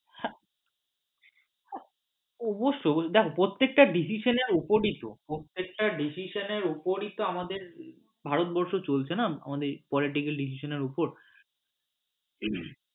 হ্যাঁ অবশ্যই দেখো প্রত্যেকটা decision এর উপরই তো প্রত্যেকটা decision এর উপরেই তো আমাদের ভারতবর্ষ চলছে না আমাদের political decision এর উপর